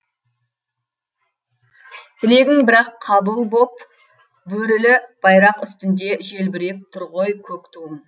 тілегің бірақ қабыл боп бөрілі байрақ үстінде желбіреп тұр ғой көк туың